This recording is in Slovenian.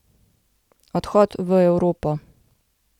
Odhod v Evropo.